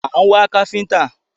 À ń wá káfíńńtà.